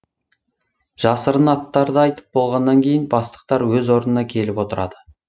жасырын аттарды айтып болғаннан кейін бастықтар өз орнына келіп отырады